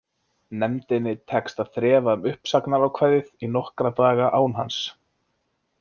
Nefndinni tekst að þrefa um uppsagnarákvæðið í nokkra daga án hans.